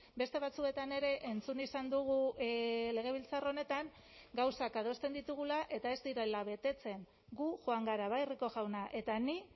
beste batzuetan ere entzun izan dugu legebiltzar honetan gauzak adosten ditugula eta ez direla betetzen gu joan gara bai rico jauna eta ni